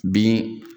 Bin